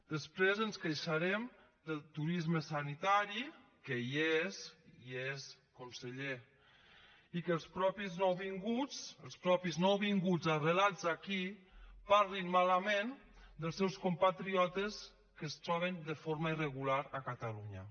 després ens queixarem del turisme sanitari que hi és hi és conseller i de que els mateixos nouvinguts arrelats aquí parlin malament dels seus compatriotes que es troben de forma irregular a catalunya